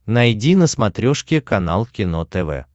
найди на смотрешке канал кино тв